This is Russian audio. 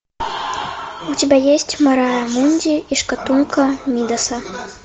у тебя есть мэрайа мунди и шкатулка мидаса